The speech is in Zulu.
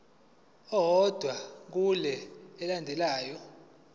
owodwa kule elandelayo